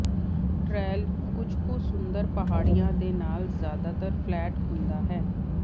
trail ਕੁਝ ਕੁ ਸੁੰਦਰ ਪਹਾੜੀਆਂ ਦੇ ਨਾਲ ਜਿਆਦਾਤਰ ਫਲੈਟ ਹੁੰਦਾ ਹੈ